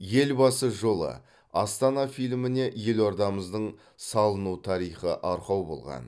елбасы жолы астана фильміне елордамыздың салыну тарихы арқау болған